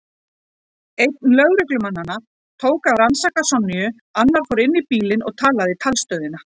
Einn lögreglumannanna tók að rannsaka Sonju, annar fór inn í bílinn og talaði í talstöðina.